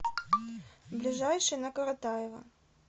ближайший на коротаева